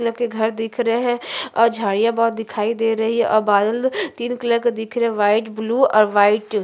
घर दिख रहे हैं और झाड़ियां भोत दिखाई दे रही है और बादल तीन कलर के दिखरे है व्हाइट ब्लू और व्हाइट ।